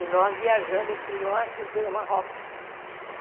E nós viajamos para o norte do Marrocos.